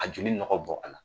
A joli nɔgɔ bɔ a la